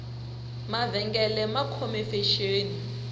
mavengele ma khome fexeni